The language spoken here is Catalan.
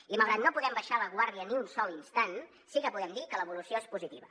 i malgrat que no podem baixar la guàrdia ni un sol instant sí que podem dir que l’evolució és positiva